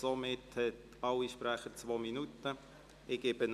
Somit haben alle Sprecher zwei Minuten Redezeit.